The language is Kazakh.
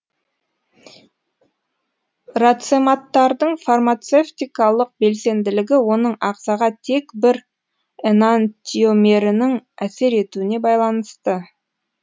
рацематтардың фармацевтикалық белсенділігі оның ағзаға тек бір энантиомерінің әсер етуіне байланысты